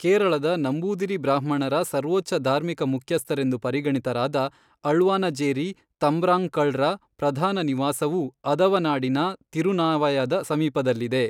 ಕೇರಳದ ನಂಬೂದಿರಿ ಬ್ರಾಹ್ಮಣರ ಸರ್ವೋಚ್ಚ ಧಾರ್ಮಿಕ ಮುಖ್ಯಸ್ಥರೆಂದು ಪರಿಗಣಿತರಾದ ಅಳ್ವಾನಜೇರಿ ತಂಬ್ರಾಂಕಳ್ರ ಪ್ರಧಾನ ನಿವಾಸವೂ ಆದವನಾಡಿನ ತಿರುನಾವಾಯದ ಸಮೀಪದಲ್ಲಿದೆ.